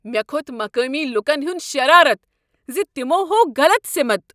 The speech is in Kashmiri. مےٚ كھوٚت مقٲمی لوٗكن ہنٛد شرارتھ زِ تمو ہوو غلط سِمت۔